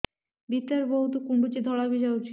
ଭିତରେ ବହୁତ କୁଣ୍ଡୁଚି ଧଳା ବି ଯାଉଛି